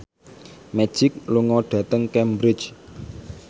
Magic lunga dhateng Cambridge